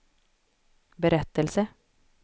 berättelse